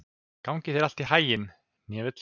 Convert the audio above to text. Gangi þér allt í haginn, Hnefill.